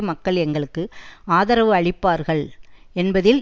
மக்கள் எங்களுக்கு ஆதரவளிப்பார்கள் என்பதில்